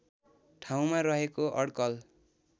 ठाउँमा रहेको अड्कल